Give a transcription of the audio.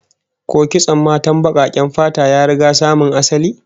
Ko kitson matan bakaken fata ya riga samo asali?